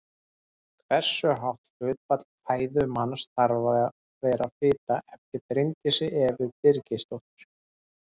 Hversu hátt hlutfall fæðu manns þarf að vera fita eftir Bryndísi Evu Birgisdóttur.